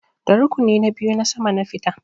Da rukuni na biyu na sama na fita.